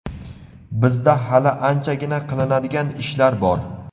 Bizda hali anchagina qilinadigan ishlar bor.